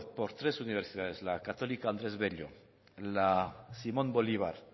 por tres universidades la católica andrés bello la simón bolívar